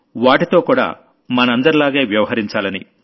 వాటిలో కూడా మనందరిలాగే వ్యవహరించాలని